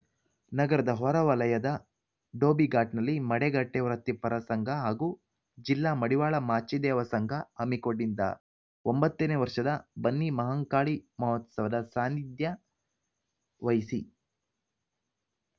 ನಗರದ ಹೊರ ವಲಯದ ಧೋಬಿಘಾಟ್‌ನಲ್ಲಿ ಮಡಿಕಟ್ಟೆವೃತ್ತಿ ಪರ ಸಂಘ ಹಾಗೂ ಜಿಲ್ಲಾ ಮಡಿವಾಳ ಮಾಚಿದೇವ ಸಂಘ ಹಮ್ಮಿಕೊಂಡಿದ್ದ ಒಂಬತ್ತನೇ ವರ್ಷದ ಬನ್ನಿ ಮಹಾಂಕಾಳಿ ಮಹೋತ್ಸವದ ಸಾನ್ನಿಧ್ಯ ವಹಿಸಿ